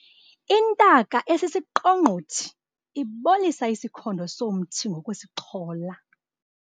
Intaka esisiqongqothi ibolisa isikhondo somthi ngokusixhola.